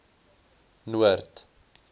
noord